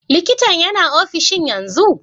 Likintan yana ofishin yanzu?